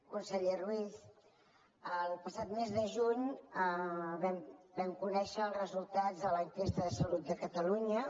conseller ruiz el passat mes de juny vam conèixer els resultats de l’enquesta de salut de catalunya